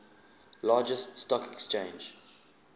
largest stock exchange